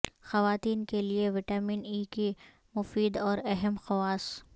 خواتین کے لئے وٹامن ای کے مفید اور اہم خواص